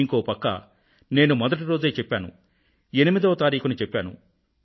ఇంకో పక్క నేను మొదటి రోజే చెప్పాను 8వ తారీఖున చెప్పాను